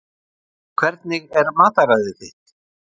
Hvernig er mataræðið þitt?